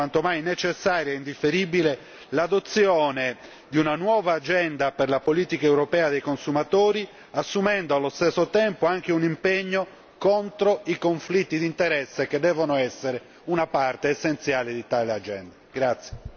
Appare oggi quanto mai necessaria e indifferibile l'adozione di una nuova agenda per la politica europea dei consumatori, assumendo allo stesso tempo anche un impegno contro i conflitti di interesse che devono essere una parte essenziale di tale agenda.